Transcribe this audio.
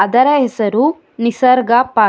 ಇದರ ಹೆಸರು ನಿಸರ್ಗ ಪಾರ್ಕ್ .